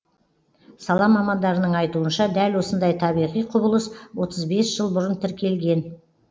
сала мамандарының айтуынша дәл осындай табиғи құбылыс отыз бес жыл бұрын тіркелген